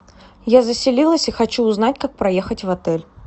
я заселилась и хочу узнать как проехать в отель